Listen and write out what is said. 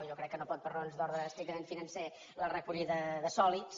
jo crec que no pot per raons d’ordre estrictament financer la recollida de sòlids